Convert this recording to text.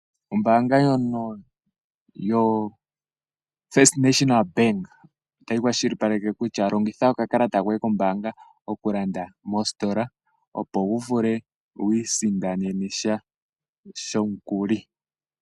Ombaanga ndjono yo First National Bank otayi kwashilipaleke kutya longitha okakalata koye kombaanga okulanda mositola. Opo wu vule wiisindanene sha shomukuli.